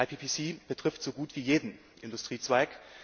IPPC betrifft so gut wie jeden Industriezweig.